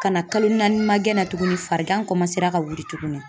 Ka na kalo naani ma gɛn na tuguni farigan ka wili tuguni .